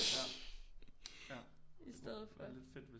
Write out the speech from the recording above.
Ja ja lidt fedt hvis